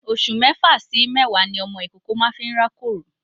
Oṣù mẹ́fà sí méwàá ni ọmọ ìkókó máa n rákòrò.